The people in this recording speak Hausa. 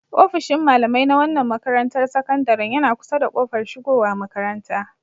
Ofishin malamai na wannan makarantar sakandaren yana kusa da kofar shigowa makaranta.